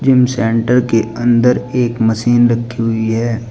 Centre के अंदर एक मशीन रखी हुई है।